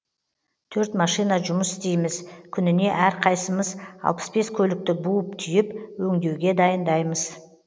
төрт машина жұмыс істейміз күніне әрқайсымыз алпыс бес көлікті буып түйіп өңдеуге дайындаймыз